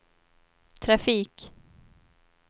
trafik